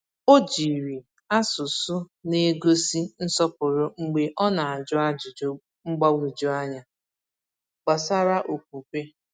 O jiri asụsụ n'egosi nsọpụrụ mgbe ọ na-ajụ ajụjụ mgbagwoju anya gbasara okwukwe.